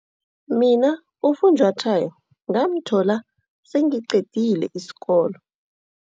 Mina ufunjwathwayo ngamthola sengiqedile isikolo.